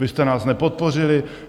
Vy jste nás nepodpořili?